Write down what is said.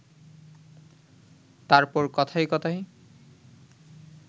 তারপর কথায় কথায়